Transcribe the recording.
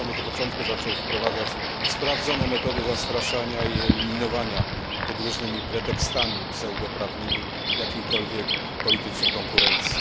Od samego początku zaczął wprowadzać sprawdzone metody zastraszania i eliminowania pod różnymi pseudoprawnymi pretekstami jakiejkolwiek politycznej konkurencji.